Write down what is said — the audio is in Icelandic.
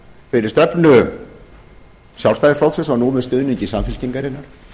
fyrir stefnu sjálfstæðisflokksins og nú með stuðningi samfylkingarinnar